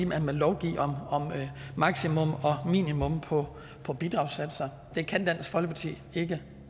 man vil lovgive om maksimum og minimum på bidragssatser det kan dansk folkeparti ikke